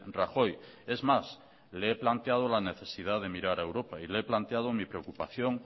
rajoy es más le he planteado la necesidad de mirar a europa y le he planteado mi preocupación